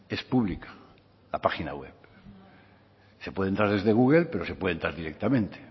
es pública la página web se puede entrar desde google pero se puede entrar directamente